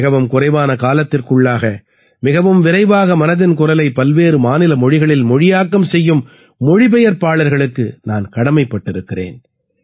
மிகவும் குறைவான காலத்திற்குள்ளாக மிகவும் விரைவாக மனதின் குரலை பல்வேறு மாநில மொழிகளில் மொழியாக்கம் செய்யும் மொழிபெயர்ப்பாளர்களுக்கு நான் கடமைப்பட்டிருக்கிறேன்